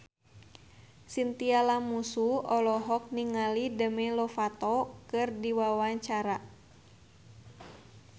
Chintya Lamusu olohok ningali Demi Lovato keur diwawancara